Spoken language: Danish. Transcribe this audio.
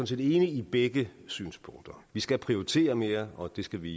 set enig i begge synspunkter vi skal prioritere mere og det skal vi